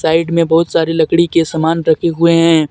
Side में बहुत सारे लकड़ी के सामान रखे हुए हैं।